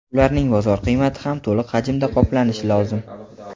ularning bozor qiymati ham to‘liq hajmda qoplanishi lozim.